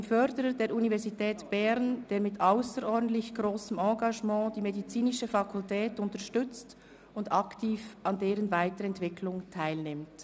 ] dem Förderer der Universität Bern, der mit ausserordentlich grossem Engagement die Medizinische Fakultät unterstützt und aktiv an deren Weiterentwicklung teilnimmt».